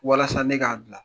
Walasa ne k'a dilan